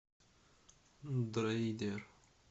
дроидер